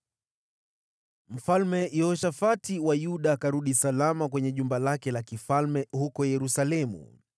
Mfalme Yehoshafati wa Yuda akarudi salama kwenye jumba lake la kifalme huko Yerusalemu.